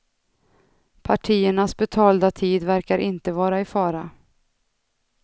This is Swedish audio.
Partiernas betalda tid verkar inte vara i fara.